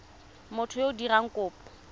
motho yo o dirang kopo